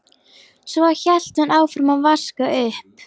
Svo hélt hún áfram að vaska upp.